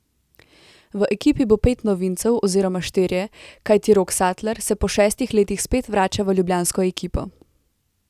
V ekipi bo pet novincev oziroma štirje, kajti Rok Satler se po šestih letih spet vrača v ljubljansko ekipo.